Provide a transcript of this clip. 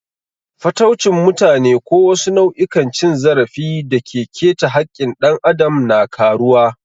Fataucin mutane ko wasu nau'ikan cin zarafi da ke keta haƙƙin ɗan adam na karuwa.